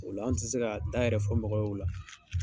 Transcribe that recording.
O la an tɛ se ka da yɛrɛ fɔ mɔgɔ ye o la.